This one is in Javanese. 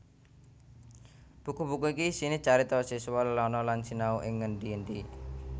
Buku buku iki isiné carita siswa lelana lan sinau ing ngendi endi